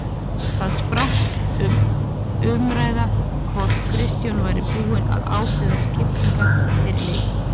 Þar spratt um umræða hvort Kristján væri búinn að ákveða skiptingarnar fyrir leiki.